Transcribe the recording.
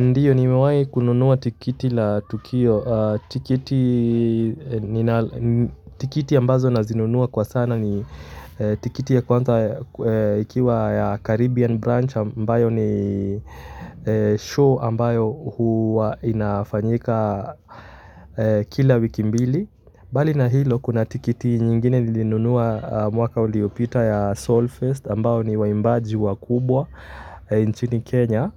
Ndiyo, nimewai kununua tikiti la tukio. Tikiti ambazo nazinunua kwa sana ni tikiti ya kwanza ikiwa ya Caribbean Branch ambayo ni show ambayo huwa inafanyika kila wiki mbili. Bali na hilo kuna tikiti nyingine nilinunua mwaka uliopita ya solfest ambao ni waimbaji wakubwa nchini Kenya